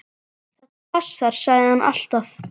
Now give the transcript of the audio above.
Þetta passar, sagði hann alltaf.